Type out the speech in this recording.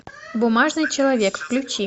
бумажный человек включи